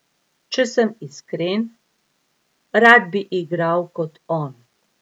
Če sem iskren, rad bi igral kot on.